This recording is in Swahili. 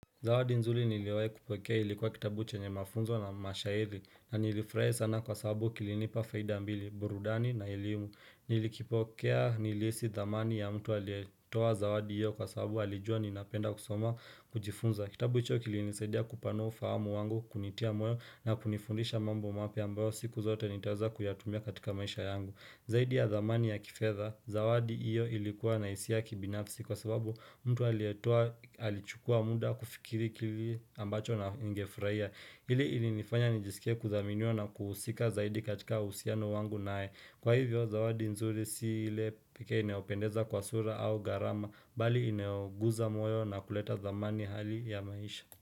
Zawadi nzuri niliyowai kupokea ilikuwa kitabu chenye mafunzo na mashahiri na nilifraia sana kwa sababu kilinipa faida mbili, burudani na elimu. Nilikipokea nilisi dhamani ya mtu alietoa zawadi iyo kwa sababu alijua ninapenda kusoma kujifunza. Kitabu hicho kilinisaidia kupanua ufahamu wangu kunitia moyo na kunifundisha mambo mapya ambayo siku zote nitaweza kuyatumia katika maisha yangu. Zaidi ya dhamani ya kifedha, zawadi iyo ilikuwa na isia ya kibinafsi kwa sababu mtu aliyetoa alichukua muda kufikiri kili ambacho ningefurahia Ili ili nifanya nijisikia kudhaminiwa na kuusika zaidi katika usiano wangu nae Kwa hivyo, zawadi nzuri si ile peke ineopendeza kwa sura au garama, bali ineoguza moyo na kuleta dhamani hali ya maisha.